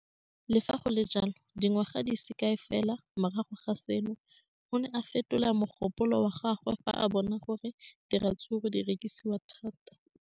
Le fa go le jalo, dingwaga di se kae fela morago ga seno, o ne a fetola mogopolo wa gagwe fa a bona gore diratsuru di rekisiwa thata.